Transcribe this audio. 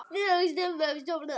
Mér leiðist þetta.